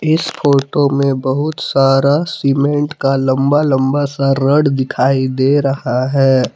इस फोटो में बहुत सारा सीमेंट का लंबा लंबा सा रॉड दिखाई दे रहा है।